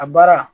A baara